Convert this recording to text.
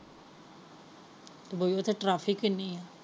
ਇਨੀਂ ਹੈ।